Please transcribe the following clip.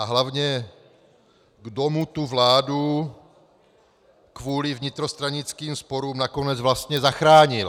A hlavně, kdo mu tu vládu kvůli vnitrostranickým sporům nakonec vlastně zachránil.